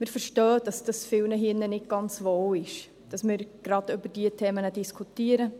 Wir verstehen, dass vielen hier im Saal nicht ganz wohl dabei ist, dass wir über diese Themen diskutieren.